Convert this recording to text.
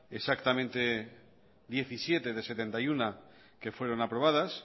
exactamente diecisiete de setenta y uno que fueron aprobadas